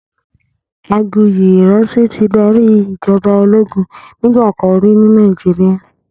Aguyi Ironsi ti dàrí ijòbá ólógùn nigbàkán ri ni Nàijiriá